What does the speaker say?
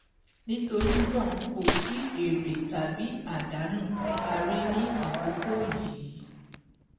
Nítorí nàá, kò sí sí èrè tàbí àdánù tí a rí ní àkókò yìí.